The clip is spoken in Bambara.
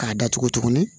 K'a datugu tuguni